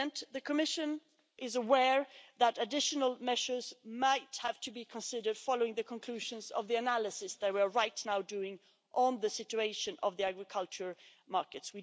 The Commission is aware that additional measures might have to be considered following the conclusions of the analysis that we're right now doing on the situation of the agriculture markets.